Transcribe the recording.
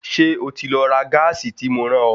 Ṣé o ti lọ ra gáàsì tí mo rán ọ?